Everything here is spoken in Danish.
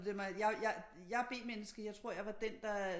Jeg er B-menneske jeg tror jeg var den der øh